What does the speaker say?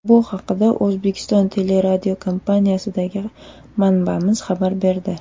Bu haqda O‘zbekiston Teleradiokompaniyasidagi manbamiz xabar berdi.